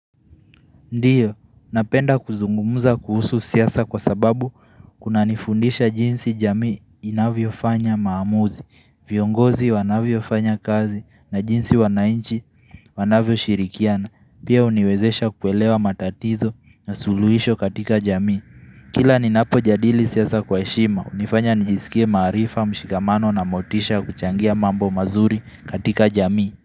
Ndiyo, napenda kuzungumza kuhusu siasa kwa sababu kunanifundisha jinsi jamii inavyofanya maamuzi, viongozi wanavyofanya kazi na jinsi wanainchi wanavyoshirikiana, pia huniwezesha kuelewa matatizo na suluhisho katika jamii. Kila ninapo jadili siasa kwa heshima, hunifanya nijisikie maarifa, mshikamano na motisha ya kuchangia mambo mazuri katika jamii.